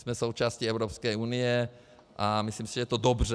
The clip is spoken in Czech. Jsme součástí Evropské unie a myslím si, že to je dobře.